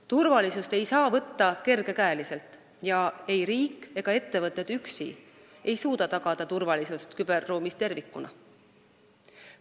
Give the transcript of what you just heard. Turvalisust ei saa võtta kergekäeliselt ning ei riik ega ettevõtted üksi suuda tagada turvalisust küberruumis tervikuna.